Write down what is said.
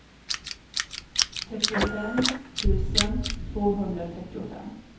trettiofem tusen tvåhundratrettiofem